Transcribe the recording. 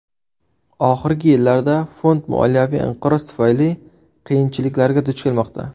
Oxirgi yillarda fond moliyaviy inqiroz tufayli qiyinchiliklarga duch kelmoqda.